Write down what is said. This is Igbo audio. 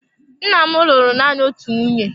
Nna m lụrụ nanị otu nwunye.